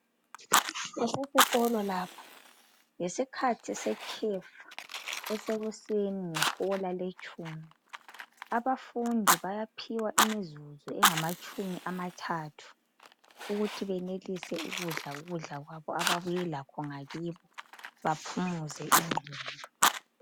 Kusesikolo lapha. Yisikhathi sekhefu. Esekuseni, ngehola letshumi. Abafundi bayaphiwa isikhathi semizuzu engamatshumi amathathu. Ukuthi badle ukudla kwabo. Abeze lakho ngakibo. Baphumuze ingqondo.